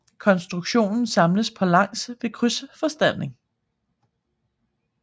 Konstruktionen samles på langs ved krydsfortanding